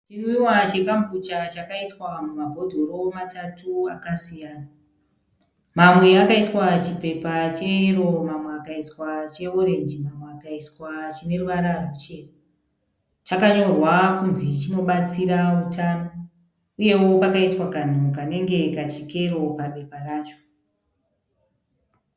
Chimwiwa cheKambucha chakaiswa mumabhodhoro matatu akasiyana. Mamwe akaiswa chipepa cheyero, mamwe akaiswa cheorenji, mamwe akaiswa chine ruvara ruchena. Chakanyorwa kunzi chinobatsira utano uyewo pakaiswa kanhu kanenge kachikero pabepa racho.